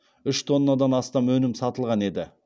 үш тоннадан астам өнім сатылған еді